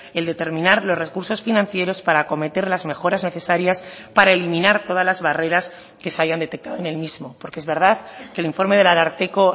el determinar los recursos financieros para acometer las mejoras necesarias para eliminar todas las barreras que se hayan detectado en el mismo porque es verdad que el informe del ararteko